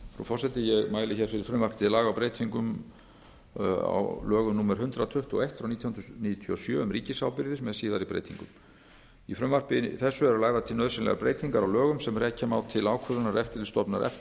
forseti ég mæli fyrir frumvarpi til laga um breyting á lögum númer hundrað tuttugu og eitt nítján hundruð níutíu og sjö um ríkisábyrgðir með síðari breytingum í frumvarpi þessu eru lagðar til nauðsynlegar breytingar á lögunum sem rekja má til ákvörðunar eftirlitsstofnunar